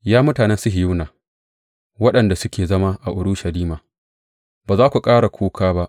Ya mutanen Sihiyona, waɗanda suke zama a Urushalima, ba za ku ƙara kuka ba.